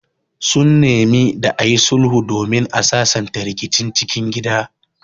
Sun nemi da ayi sulhu domin a sasanta rikicin cikin gida